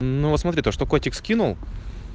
ну смотри то что котик скинул